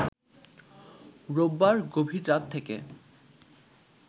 রোববার গভীর রাত থেকে